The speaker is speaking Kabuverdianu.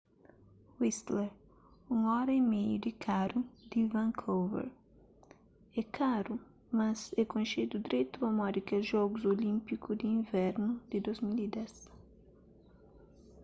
whistler 1,5 óra di karu di vancouver é karu mas é konxedu dretu pamodi kel jogus olínpiku di invernu di 2010